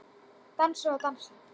Dansa og dansa.